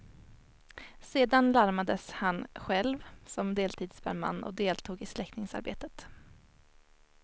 Sedan larmades han själv som deltidsbrandman och deltog i släckningsarbetet.